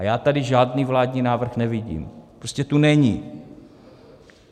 A já tady žádný vládní návrh nevidím, prostě tu není.